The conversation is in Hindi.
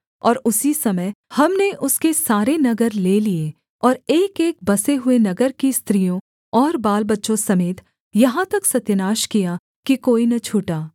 और उसी समय हमने उसके सारे नगर ले लिए और एकएक बसे हुए नगर की स्त्रियों और बालबच्चों समेत यहाँ तक सत्यानाश किया कि कोई न छूटा